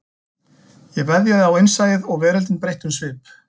Ég veðjaði á innsæið og veröldin breytti um svip